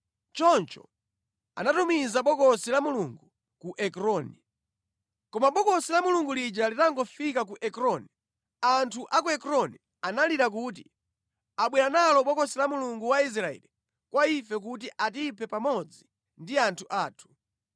Choncho anatumiza Bokosi la Mulungu ku Ekroni. Koma Bokosi la Mulungu lija litangofika ku Ekroni, anthu a ku Ekroni analira kuti, “Abwera nalo Bokosi la Mulungu wa Israeli kwa ife kuti atiphe pamodzi ndi anthu athu.”